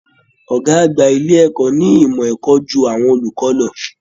Ọ̀gá àgbà ilé ẹ̀kọ́ ní ìmọ̀ ẹ̀kọ́ ju àwọn olùkọ́ lọ